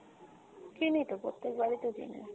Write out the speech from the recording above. কিনি তো প্রত্যেকবারই তো কিনি,